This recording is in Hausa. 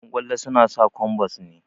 Ƴan ƙwallo suna sa kwambas ne